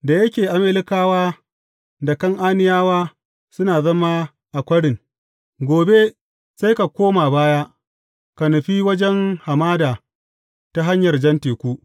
Da yake Amalekawa da Kan’aniyawa suna zama a kwarin, gobe sai ka koma baya, ka nufi wajen hamada ta hanyar Jan Teku.